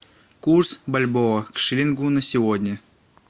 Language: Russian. курс бальбоа к шиллингу на сегодня